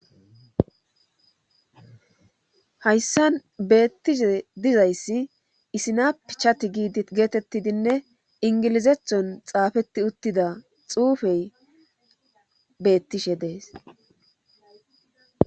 Hayssan beettishe dizayssi isinapichati geetettidinne ingilizethon xaafetti uttida xuufey beettishe dees.